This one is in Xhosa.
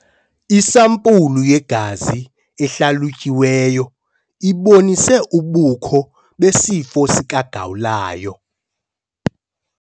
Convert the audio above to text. Isampulu yegazi ehlalutyiweyo ibonise ubukho besifo sikagawulayo.